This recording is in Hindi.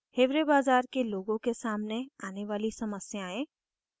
1 hiware bazar के लोगों के सामने आने वाली समस्याएँ